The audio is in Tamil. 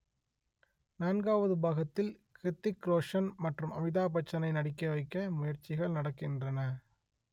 நான்காவது பாகத்தில் ஹிர்த்திக் ரோஷன் மற்றும் அமிதாப்பச்சனை நடிக்க வைக்க முயற்சிகள் நடக்கின்றன